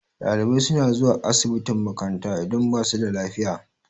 Ɗalibai suna zuwa asibitin makaranta idan ba su da lafiya.